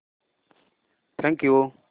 thank you